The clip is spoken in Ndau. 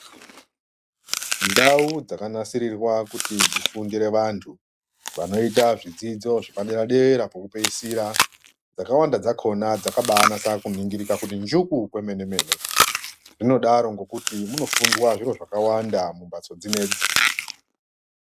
Ndau dzakanasirirwa kuti dzifundire vandu vanoita zvidzidzo zvepadera dera pokupeisira dzakawanda dzakona dzakabainasa kubainingirika kunjuku kwemene mene zvinodaro nekuti munofundwa zviro zvakawanda mumbatso dzinedzi.